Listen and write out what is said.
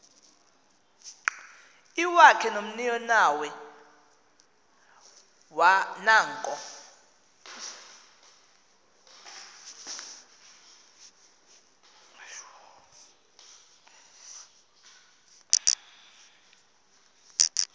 iwakhe nomninawe nanko